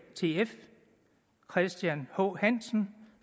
og christian h hansen